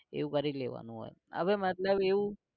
એવું કરી લેવાનું હોય હવે મતલબ એવું